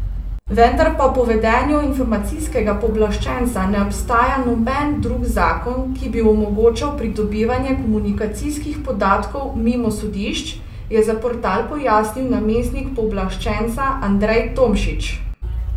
Vendar pa po vedenju Informacijskega pooblaščenca ne obstaja noben drug zakon, ki bi omogočal pridobivanje komunikacijskih podatkov mimo sodišč, je za portal pojasnil namestnik pooblaščenca Andrej Tomšič.